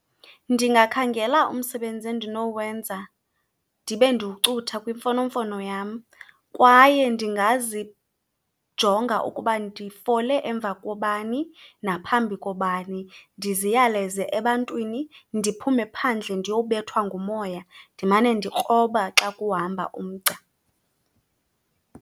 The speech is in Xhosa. Ndingakhangela umsebenzi endinowenza ndibe ndiwucutha kwimfonomfono yam, kwaye ndingazijonga ukuba ndifole emva kobani naphambi kobani, ndiziyaleze ebantwini. Ndiphume phandle ndiyobethwa ngumoya, ndimane ndikroba xa kuhamba umgca.